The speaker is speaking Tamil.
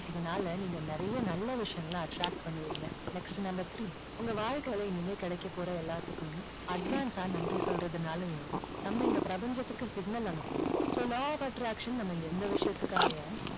இதுனால நீங்க நிறைய நல்ல விஷயங்களை attract பண்ணுவீங்க. next number three உங்க வாழ்க்கையில இனிமேல் கிடைக்க போற எல்லாத்துக்கும் advance ஆ நன்றி சொல்றதுனாலேயும் நம்ம இந்த பிரபஞ்சத்துக்கு signal அனுப்புவோம். so law of attraction நம்ம எந்த விஷயத்துக்காக